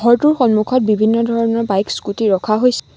ঘৰটোৰ সন্মুখত বিভিন্ন ধৰণৰ বাইক স্কুটী ৰখা হৈছে।